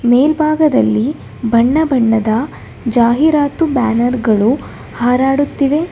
ಮೇಲ್ಭಾಗದಲ್ಲಿ ಬಣ್ಣ ಬಣ್ಣದ ಜಾಹಿರಾತು ಬ್ಯಾನರ್ ಗಳು ಹರಾಡುತ್ತಿವೆ.